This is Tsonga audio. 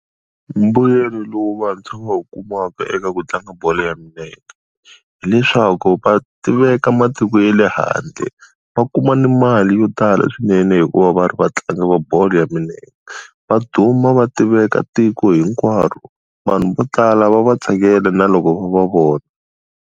Mbuyelo lowu vantshwa va wu kumaka eka ku tlanga bolo ya milenge. Hileswaku va tiveka matiko ya le handle, va kuma ni mali yo tala swinene hi ku va va ri vatlangi va bolo ya milenge. Va duma va tiveka tiko hinkwaro. Vanhu vo tala va va tsakela na loko va va vona.